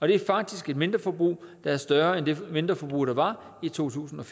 det er faktisk et mindreforbrug der er større end det mindreforbrug der var i totusinde